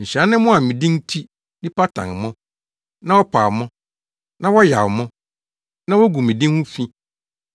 Nhyira ne mo a me din nti, nnipa tan mo, na wɔpa mo na wɔyaw mo, na wogu mo din ho fi.